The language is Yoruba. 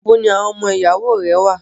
Ibo ni àwọn ọmọ ìyàwó rẹ wà?